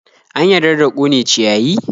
An yarda da ƙone ciyayi?